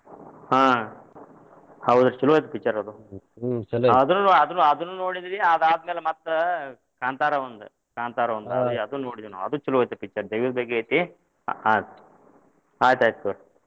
ಹಾ ಹೌದ್ರಿ ಚೊಲೋ ಐತಿ picture ಅದ್ ಆದ್ರೂ ಆದ್ರೂ ಅದ್ನು ಅದ್ನು ನೋಡಿದೆನಿ ಆದ ಆದಮೇಲ ಮತ್ತ್ ಕಾಂತಾರ ಒಂದ್ ಕಾಂತಾರ ಒಂದ್ ಅದ್ನು ಅದ್ನು ನೋಡಿದೇವ ನಾವ ಅದ್ಚೊಲೋ ಐತಿ picture ದೈವದ ಬಗ್ಗೆ ಐತಿ ಆಯ್ತ್ ಆಯ್ತ್ ಆಯ್ತ್ ತುಗೋರಿ.